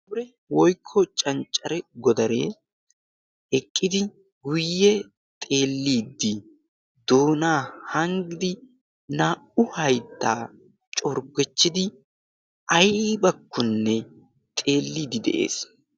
aabure woikko canccare godaree eqqidi guyye xeelliiddi doonaa hanggidi naa77u hayittaa corggechchidi aibakkonne xeelliiddi de7ees.